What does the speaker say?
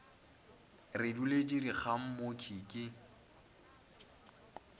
re duletše dikgang mokhwi ke